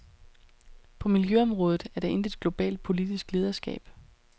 På miljøområdet er der intet globalt politisk lederskab.